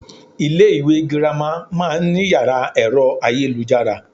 Ilé ìwé girama má a nní yàrá èro ayélujára